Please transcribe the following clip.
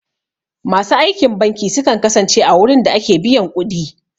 Masu aikin banki sukan kasance a wurin da ake biyan ƙudi